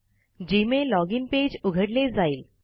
Gmail login page उघडले जाईल